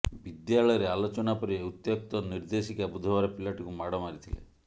ବିଦ୍ୟାଳୟରେ ଆଲୋଚନା ପରେ ଉତ୍ତ୍ୟକ୍ତ ନିର୍ଦ୍ଦେଶିକା ବୁଧବାର ପିଲାଟିକୁ ମାଡ଼ ମାରିଥିଲେ